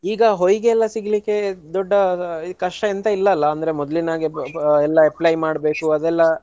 ಈಗ ಹೊಯಿಗೆ ಎಲ್ಲಾ ಸಿಗ್ಲಿಕ್ಕೆ ದೊಡ್ಡ ಕಷ್ಟ ಎಂತ ಇಲ್ಲ ಅಲ್ಲ ಅಂದ್ರೆ ಮೊದ್ಲಿನ ಹಾಗೆ ಎಲ್ಲಾ apply ಮಾಡ್ಬೇಕೂ ಅದೆಲ್ಲ.